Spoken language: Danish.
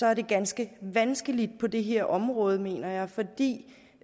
er det ganske vanskeligt på det her område mener jeg fordi